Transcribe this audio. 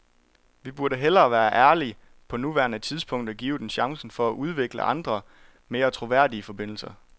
Vi burde hellere være ærlige på nuværende tidspunkt og give dem chancen for at udvikle andre, mere troværdige forbindelser.